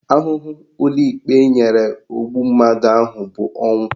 Ahụhụ ụlọikpe nyere ogbu mmadụ ahụ bụ ọnwụ